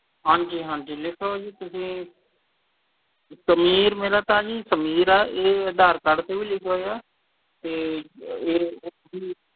ਹਾਂਜੀ ਹਾਂਜੀ ਲਿਖੋ ਤੁਸੀਂ ਸਮੀਰ ਮੇਰਾ ਤਾਂ ਜੀ ਸਮੀਰ ਆ ਇਹ ਅਧਾਰ card ਤੇ ਵੀ ਲਿਖਿਆ ਹੋਇਆ ਤੇ ਇਹ